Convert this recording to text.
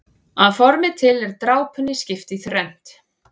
Að formi til er drápunni skipt í þrennt.